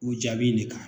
U jaabi in de kan